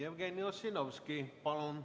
Jevgeni Ossinovski, palun!